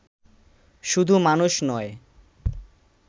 শুধু মানুষ নয়